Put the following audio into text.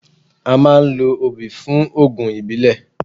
A máa ń lo obì fún oògùn ìbílẹ̀.